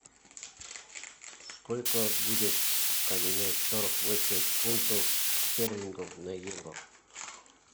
сколько будет поменять сорок восемь фунтов стерлингов на евро